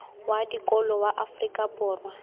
wa dikolo wa afrika borwa